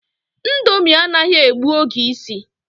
Ndomi anaghi egbu oge isi